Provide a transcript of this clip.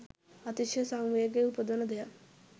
අතිශය සංවේගය උපදවන දෙයක්.